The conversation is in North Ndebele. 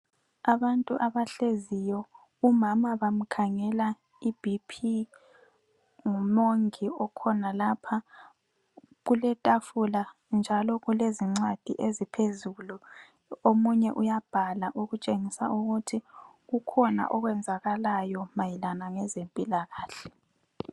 Abantu abahleziyo umama bamkhangela iBP ngumongi okhona lapha, kuletafula njalo kulezincwadi eziphezulu omunye uyabhala okutshengisa ukuthi kukhona okwenzakalayo mayelana ngezempilakahle.